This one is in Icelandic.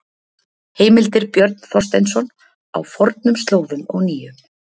Heimildir Björn Þorsteinsson: Á fornum slóðum og nýjum.